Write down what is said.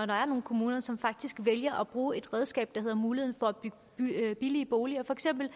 der er nogle kommuner som faktisk vælger at bruge et redskab der hedder muligheden for at bygge billige boliger for eksempel